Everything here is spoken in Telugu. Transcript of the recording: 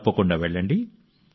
తప్పకుండా వెళ్ళండి